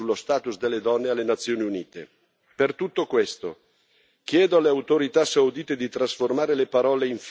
Per tutto questo, chiedo alle autorità saudite di trasformare le parole in fatti, di non ingannare l'opinione pubblica.